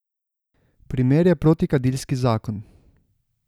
Primer je protikadilski zakon.